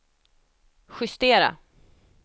justera